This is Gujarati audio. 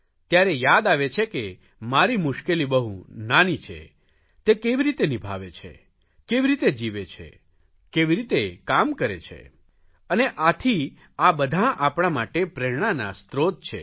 ત્યારે યાદ આવે છે કે મારી મુશ્કેલી બહુ નાની છે તે કેવી રીતે નિભાવે છે કેવી રીતે જીવે છે કેવી રીતે કામ કરે છે અને આથી આ બધાં આપણા માટે પ્રેરણાના સ્ત્રોત છે